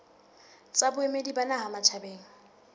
tsa boemedi ba naha matjhabeng